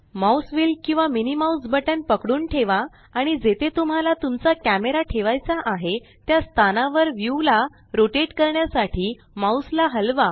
mouse wheel किंवा MMBपकडून ठेवा आणि जेथे तुम्हाला तुमचा कॅमरा ठेवायचा आहे त्या स्थानावर व्यू ला रोटेट करण्यासाठी माउस ला हलवा